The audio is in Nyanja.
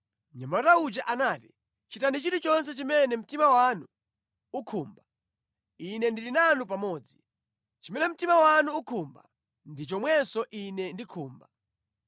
Mnyamata uja anati, “Chitani chilichonse chimene mtima wanu ukhumba. Ine ndili nanu pamodzi. Chimene mtima wanu ukhumba ndi chomwenso ine ndikhumba.”